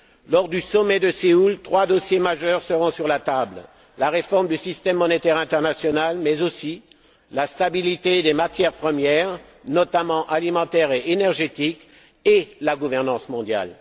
Lors du sommet de Séoul, trois dossiers majeurs seront sur la table la réforme du système monétaire international, mais aussi la stabilité des matières premières, notamment alimentaires et énergétiques, et la gouvernance mondiale.